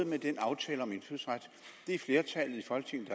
med den aftale om indfødsret det er flertallet i folketinget